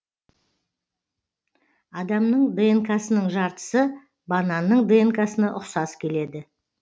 адамның днк сының жартысы бананның днк сына ұқсас келеді